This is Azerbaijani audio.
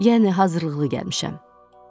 Yəni hazırlıqlı gəlmişəm.